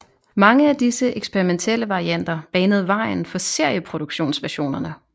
Mange af disse eksperimentelle varianter banede vejen for serieproduktionsversionerne